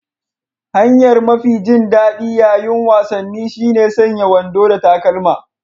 Hanyar mafi jin daɗi ƴaƴin wasanni shine sanya wando da takalma.